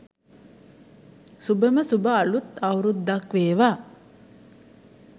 සුභම සුභ අළුත් අවුරුද්දක් වේවා.